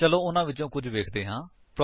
ਚੱਲੋ ਉਹਨਾ ਵਿਚੋਂ ਕੁੱਝ ਵੇਖਦੇ ਹਾਂ